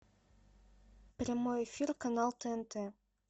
прямой эфир канал тнт